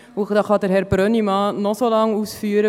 Dies kann Herr Brönnimann noch so lange ausführen.